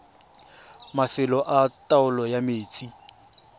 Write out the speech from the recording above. mafelo a taolo ya metsi